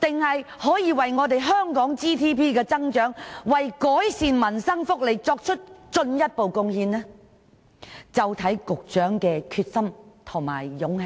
可否為香港 GDP 增長及改善民生福利作出進一步貢獻，就視乎局長的決心和勇氣。